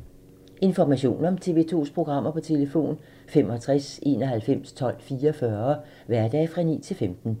Information om TV 2's programmer: 65 91 12 44, hverdage 9-15.